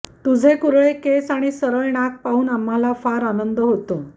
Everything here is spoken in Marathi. तुझे कुरळे केस आणि सरळ नाक पाहून आम्हाला फार आनंद होतो